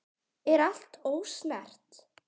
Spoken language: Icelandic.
Er allt ósnert?